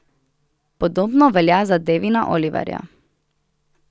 Podobno velja za Devina Oliverja.